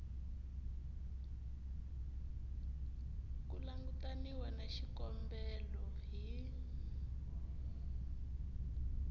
ku langutaniwa na xikombelo hi